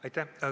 Aitäh!